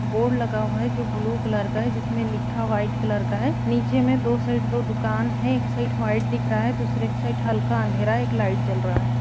Board लगा हुआ है जो ब्लू कलर का है जिसमे लिखा व्हाइट कलर का है नीचे मे दो साइड दो दुकान है एक साइड व्हाइट दिख रहा है दूसरी साइड हल्का अंधेरा है एक लाइट जल रहा है।